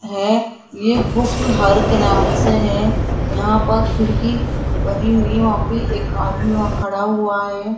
है ये बुक हर के नाम से है यहां पर खिड़की बनी हुई है वहां पे एक आदमी वहां खड़ा हुआ है।